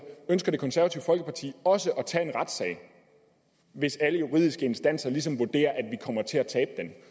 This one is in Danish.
ønsker det konservative folkeparti også at tage en retssag hvis alle juridiske instanser ligesom vurderer at vi kommer til at tabe den